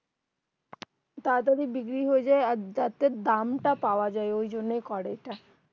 তারাতারি বিক্রি হয়ে যাই আর যাতে দাম তা পাওয়া যাই ঐজন্যই করে এটা